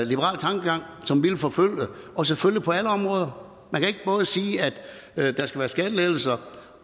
liberal tankegang som vi vil forfølge og selvfølgelig på alle områder man kan ikke både sige at der skal være skattelettelser